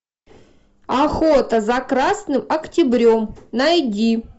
охота за красным октябрем найди